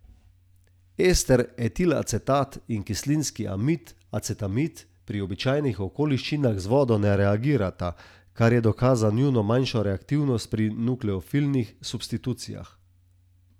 Ester etilacetat in kislinski amid acetamid pri običajnih okoliščinah z vodo ne reagirata, kar je dokaz za njuno manjšo reaktivnost pri nukleofilnih substitucijah.